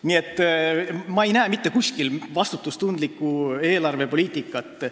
Nii et ma ei näe mitte kuskil vastutustundlikku eelarvepoliitikat.